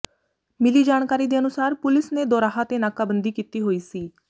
ਮਿਲੀ ਜਾਣਕਾਰੀ ਦੇ ਅਨੁਸਾਰ ਪੁਲਿਸ ਨੇ ਦੋਰਾਹਾ ਤੇ ਨਾਕਾਬੰਦੀ ਕੀਤੀ ਹੋਈ ਸੀ